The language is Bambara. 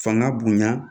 Fanga bonya